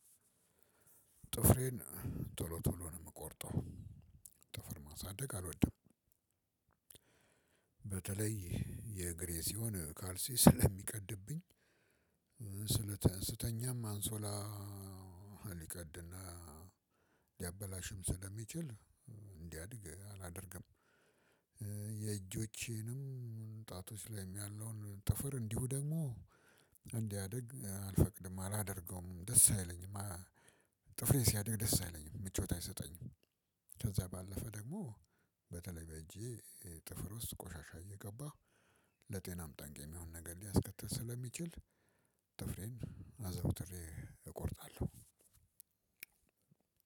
ጥፍሬን ቶሎ ቶሎ ነው የምቆርጠው። ጥፍር ማሳደግ አልወድም። በተለይ የእግሬ ሲሆን ካልሲ ስለሚቀድብኝ- ስተኛም አንሶላ ሊቀድና ሊያበላሽም ስለሚችል እንዲያድግ አላደርግም። የእጆቼንም ጣቶች ላይም ያለውን ጥፍር እንዲሁ ደግሞ እንዲያድግ አልፈቅድም አላደርገውም ደስ አይለኝም። ጥፍሬ ሲያድግ ደስ አይለኝም። ምቾት አይሰጠኝም። ከዛ ባለፈ ደግሞ በተለይ በእጄ ጥፍር ውስጥ ቆሻሻ እየገባህ ለጤናም ጠንቅ የሚሆን ነገር ሊያስከትል ስለሚችል ጥፍሬን አዘውትሬ እቆርጣለሁ።